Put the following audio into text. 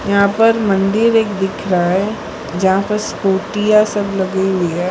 यहां पर मंदिर एक दिख रहा है जहाँ पे स्कूटीयां सब लगी हुई है।